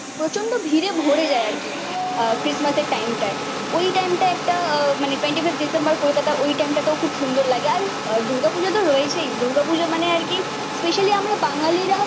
প্রচন্ড ভিড়ে ভরে যায় আরকি আহ ক্রিসমাসের টাইমটা। ওই টাইমটা একটা মানে টোয়েন্টি ফাইভ ডিসেম্বর কলকাতা ওই টাইমটাতেও খুব সুন্দর লাগে। আর দুর্গাপূজা তো রয়েছেই। দুর্গাপূজা মানে আরকি স্পেশালি আমরা বাঙালিরা